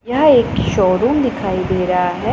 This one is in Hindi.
यह एक शोरूम दिखाई दे रहा है।